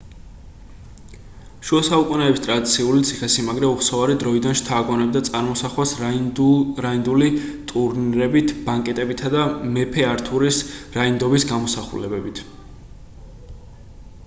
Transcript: შუასაუკუნეების ტრადიციული ციხესიმაგრე უხსოვარი დროიდან შთააგონებდა წარმოსახვას რაინდული ტურნირებით ბანკეტებითა და მეფე ართურის რაინდობის გამოსახულებებით